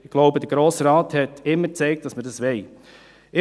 Auch hier: Der Grosse Rat hat immer gezeigt, dass er dies will.